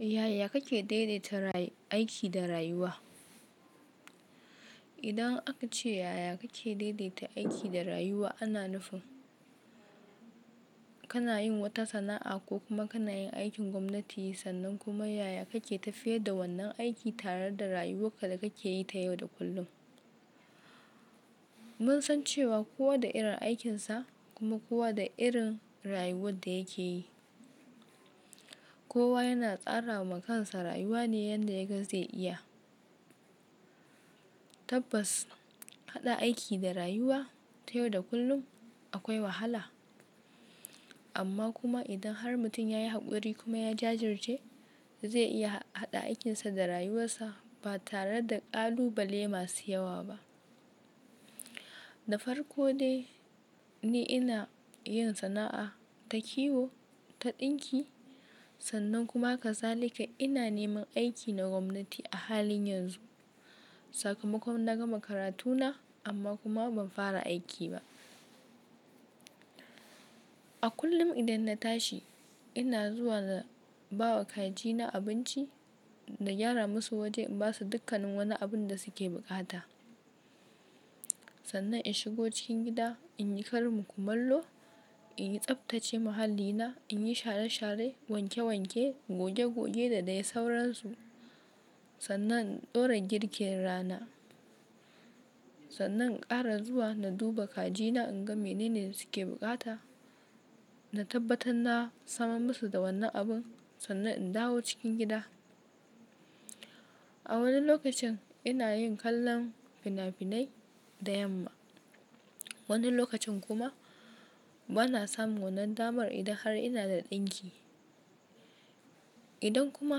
Yaya kake daidaita aiki da rayuwa? Idan aka ce yaya kake daidaita aiki da rayuwa ana nufin kana yin wata sana'a ko kuma kana yin aikin gwamnati sannan kuma yaya kake tafiyar da wannan aiki tare da rayuwar da kake yi ta yau da kullum. Mun san cewa kowa da irin aikinsa kuma kowa da irin rayuwar da yake yi. Kowa yana tsara wa kan sa rayuwa ne yanda ya ga zai iya. Tabbas haɗa aiki da rayuwa ta yau da kullum akwai wahala. Amma kuma idan har mutum ya yi haƙuri kuma ya jajirce zai iya haɗa aikinsa da rayuwarsa ba tare da ƙalubale masu yawa ba. Da farko dai ni ina yin sana'a ta kiwo, ta ɗinki sannan kuma haka zalika ina neman aiki na gwamnati a halin yanzu. Sakamakon na gama karatuna amma kuma ban fara aiki ba. A kullum idan na tashi ina zuwa na ba wa kajina abinci na gyara musu waje in ba su dukkanin wani abu da suke buƙata. Sannan in shigo cikin gida in yi karin kumallo, in yi tsaftace muhallina, in yi share share, wanke wanke, goge goge da dai sauransu. Sannan in ɗora girkin rana. Sannan in ƙara zuwa na duba kajina in ga mene ne suke buƙata. Na tabbatar na samar musu da wannan abun sannan in dawo cikin gida. A wani lokacin ina yin kallon fina-finai da yamma. Wani lokacin kuma bana samun wannan damar idan har ina da ɗinki. Idan kuma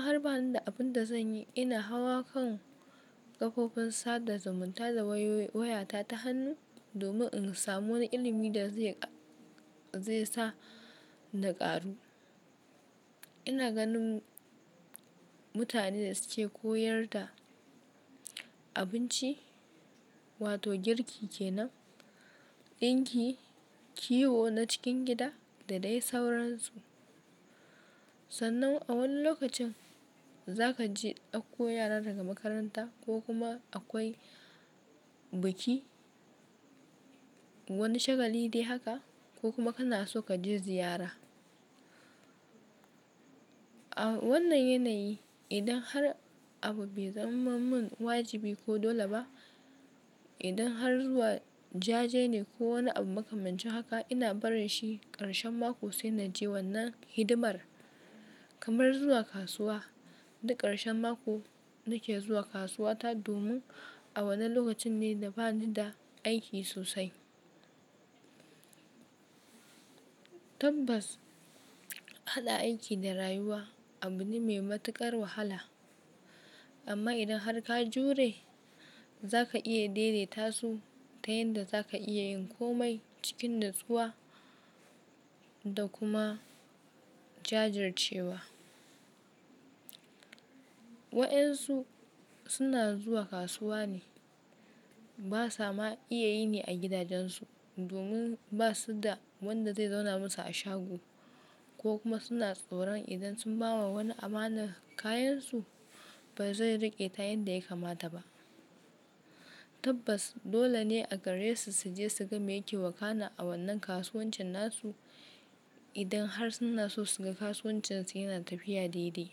har bani da abin da zan yi ina hawa kan ƙafofin sada zumunta da wayata ta hannu domin in samu wani ilimi da zai sa na ƙaru. Ina ganin mutane da suke koyar da abinci wato girki kenan, ɗinki, kiwo na cikin gida da dai sauransu. Sannan a wani lokacin za ka je ɗakko yara daga makaranta ko kuma akwai biki, wani shagali dai haka ko kuma kana so ka je ziyara. A wannan yanayi idan har abu bai zama mun wajibi ko dole ba, idan har zuwa jaje ne ko wani abu msaka mancin haka ina barin shi ƙarshen mako sai na je wannan hidimar. Kamar zuwa kasuwa, duk ƙarshen mako nake zuwa kasuwa ta domin a wannan lokacin ne da bani da aiki sosai. Tabbas haɗa aiki da rayuwa abu ne mai matuƙar wahala. Amma idan har ka jure za ka iya daidaita su ta yanda za ka iya yin komai cikin natsuwa da kuma jajircewa. Waɗansu suna zuwa kasuwa ne ba sama iya yini a gidajensu domin ba su da wanda zai zauna musu a shago ko kuma suna tsoron idan sun ba wa wani amanar kayansu ba zai riƙe ta yanda ya kamata ba. Tabbas dole ne a garesu su je suga me yake wakana a wannan kasuwancin nasu idan har suna so su ga kasuwancinsu yana tafiya daidai.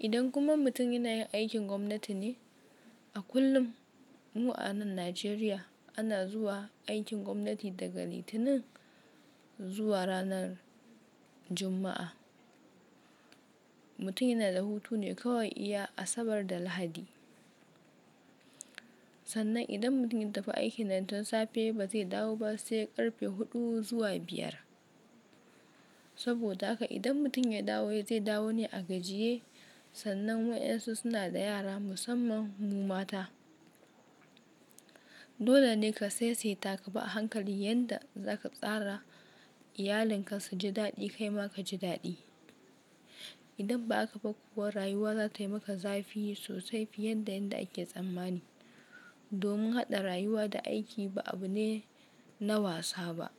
Idan kuma mutum yana yin aikin gwamnati ne a kullum mu a nan Najeriya ana zuwa aikin gwamnati daga Litinin zuwa ranar Juma'a. Mutum yana da hutu ne kawai iya Asabar da Lahadi. Sannan idan mutum ya tafi aiki nan tun safe ba zai dawo ba sai ƙarfe huɗu zuwa biyar. Saboda haka idan mutum ya dawo zai dawo ne a gajiye sannan waɗansu suna da yara musamman mu mata. Dole ne ka saisaita ka bi a hankali yanda za ka tsara iyalinka su ji daɗi kai ma ka ji daɗi. Idan ba haka ba kuwa rayuwa za ta yi maka zafi sosai fiye da yanda ake tsammani. Domin haɗa rayuwa da aiki ba abu ne na wasa ba.